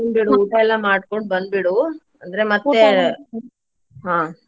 ಬಿಡು ಊಟ ಎಲ್ಲಾ ಮಾಡ್ಕೊಂಡ ಬಂದ್ ಬಿಡು ಅಂದ್ರೆ ಮತ್ತೆ ಹ್ಮ.